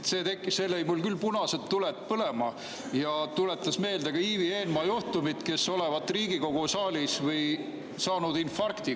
See lõi mul küll punased tuled põlema ja tuletas meelde Ivi Eenmaa juhtumit, kes olevat Riigikogu saalis saanud infarkti.